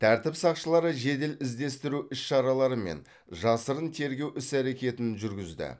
тәртіп сақшылары жедел іздестіру іс шаралары мен жасырын тергеу іс әрекеттерін жүргізді